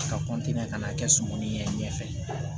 Ka ka n'a kɛ sogo ni ɲɛ ɲɛ fɛ